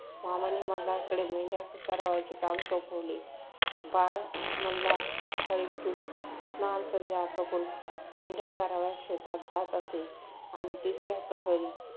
मामाने मल्हारकडे मेंढ्या चारावयाचे काम सोपवले. बाळ मल्हार सकाळी उठून स्नानसंध्या आटोपून मेंढ्या चारावयास शेतात जात असे आणि तिसऱ्या प्रहरी